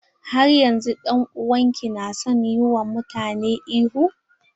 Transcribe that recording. Har yanzun dan'uwan ki na son yi wa mutane ihu?